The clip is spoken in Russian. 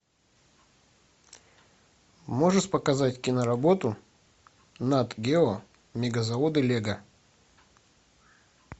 можешь показать киноработу нат гео мегазаводы лего